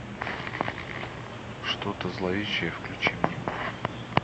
что то зловещее включи мне